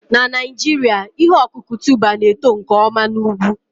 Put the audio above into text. Na Naijiria, ihe ọkụkụ tuber na-eto nke ọma na ugwu